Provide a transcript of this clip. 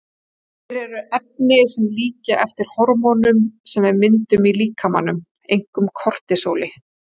Þeir eru efni sem líkja eftir hormónum sem við myndum í líkamanum, einkum kortisóli.